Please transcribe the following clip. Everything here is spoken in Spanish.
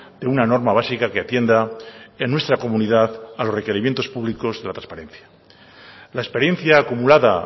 de una norma básica que atienda en nuestra comunidad a los requerimientos públicos y a la transparencia la experiencia acumulada